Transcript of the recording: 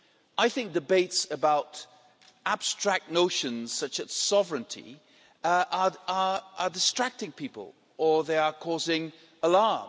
I think debates about abstract notions such as sovereignty are distracting people or they are causing alarm.